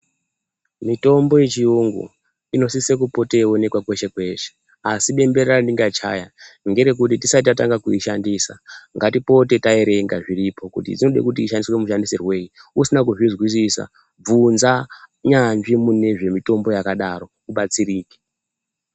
Mitombo yechiyungu inosise kupoteyionekwa kweshe kweshe asi bembera rendingachaya ngerekuri tisati tatanga kuyishandisa ngatipote tayerenga zviripo kuti inode kuti ishandiswe mushandisirwoyi usina kuzvizwisisa bvunza nyanzvi munezvemitombo yakadaro ubatsirike.